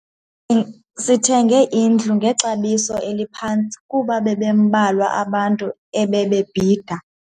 Sithenge indlu ngexabiso eliphantsi kuba bebembalwa abantu ebebebhida.